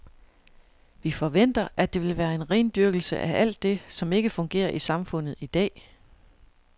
Vi forventer, at det vil være en rendyrkelse af alt det, som ikke fungerer i samfundet i dag.